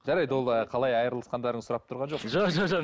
жарайды ол ы қалай айырылысқандарыңызды сұрап тұрған жоқпын жоқ